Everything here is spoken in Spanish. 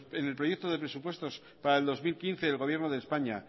en el proyecto de presupuesto para el dos mil quince el gobierno de españa